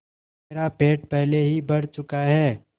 मेरा पेट पहले ही भर चुका है